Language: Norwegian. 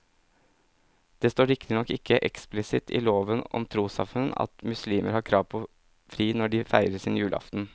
Det står riktignok ikke eksplisitt i loven om trossamfunn at muslimer har krav på fri når de feirer sin julaften.